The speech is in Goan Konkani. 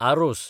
आरोस